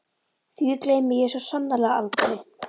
Nei því gleymi ég svo sannarlega aldrei.